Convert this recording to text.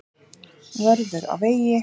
Vörður á vegi.